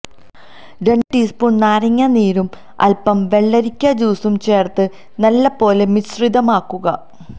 രണ്ട് ടീസ്പൂൺ നാരങ്ങ നീരും അൽപം വെള്ളരിക്ക ജ്യൂസും ചേർത്ത് നല്ല പോലെ മിശ്രിതമാക്കുക